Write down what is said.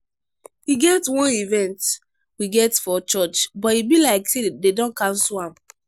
e get wan event we get for church but e be like say dey don cancel am.